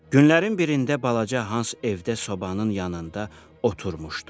Günlərin birində balaca Hans evdə sobanın yanında oturmuşdu.